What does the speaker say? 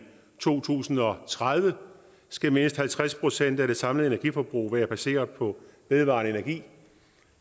to tusind og tredive skal mindst halvtreds procent af det samlede energiforbrug være baseret på vedvarende energi